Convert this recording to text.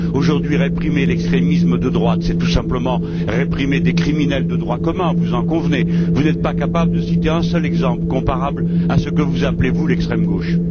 Aujourd'hui, réprimer l'extrémisme de droite, c'est tout simplement réprimer des criminels de droit commun, vous en convenez, vous n'êtes pas capables de citer un seul exemple comparable à ce que vous appelez, vous, l'extrême gauche.